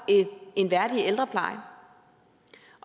en værdig ældrepleje